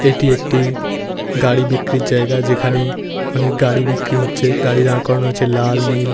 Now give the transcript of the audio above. এটি একটি গাড়ি বিক্রির জায়গা। যেখানে অনেক গাড়ি বিক্রি হচ্ছে। গাড়ি দাঁড় করানো হচ্ছে লাল নীল।